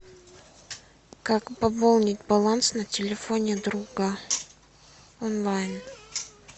как пополнить баланс на телефоне друга онлайн